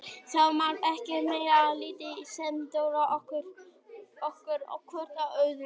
Það var sko ekkert meira en lítið sem dró okkur hvort að öðru.